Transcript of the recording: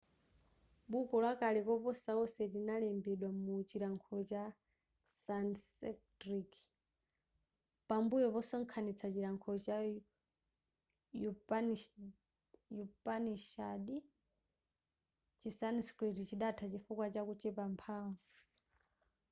buko lakale koposa onse linalembedwa mu chilankhulo cha sanskrit pambuyo posonkhanista chilankhulo cha upanishads chi sanskrit chidatha chifukwa cha kuchepa mphanvu